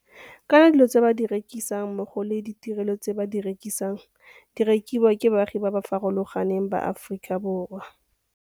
Kana dilo tse ba di rekisang mmogo le ditirelo tse ba di rekisang di rekiwa ke baagi ba ba farologa neng ba Aforika Borwa.